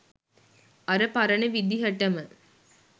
අර පරණ විදිහටම